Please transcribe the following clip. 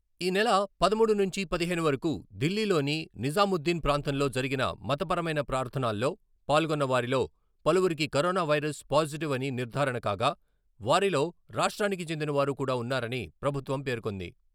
ఈ నెల పదమూడు నుంచి పదిహేను వరకు ఢిల్లీలోని నిజాముద్దీన్ ప్రాంతంలో జరిగిన మత పరమైన ప్రార్థనల్లో పాల్గొన్న వారిలో పలువురికి కరోన వైరస్ పాజిటివ్ అని నిర్ధారణ కాగా, వారిలో రాష్ట్రానికి చెందిన వారు కూడా ఉన్నారని ప్రభుత్వం పేర్కొంది.